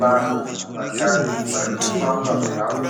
Vanhu vatatu vari kufamba zvavo